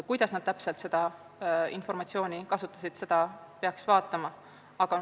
Kuidas nad täpselt seda informatsiooni kasutasid, seda peaks uurima.